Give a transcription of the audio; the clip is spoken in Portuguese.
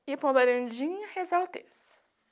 Ia para um varandinha rezar o terço.